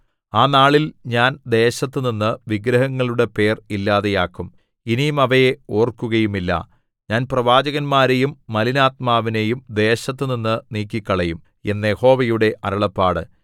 ആ നാളിൽ ഞാൻ ദേശത്തുനിന്ന് വിഗ്രഹങ്ങളുടെ പേര് ഇല്ലാതാക്കും ഇനി അവയെ ഓർക്കുകയുമില്ല ഞാൻ പ്രവാചകന്മാരെയും മലിനാത്മാവിനെയും ദേശത്തുനിന്ന് നീക്കിക്കളയും എന്ന് യഹോവയുടെ അരുളപ്പാട്